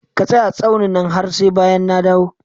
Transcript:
Ka tsaya a tsaunin nan har sai bayan na dawo!